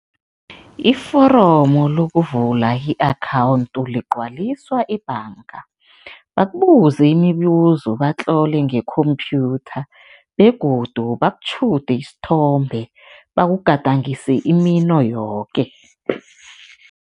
Iforomu lokuvula i-akhawundi ligcwaliswa ebhanga, bakubuze imibuzo, batlole nge-computer begodu bakutjhude isithombe, bakugadangise imino yoke.